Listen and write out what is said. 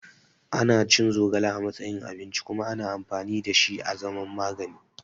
Ana cin zogale a matsayin abinci kuma ana amfani da shi a zaman magani.